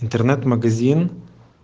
интернет-магазин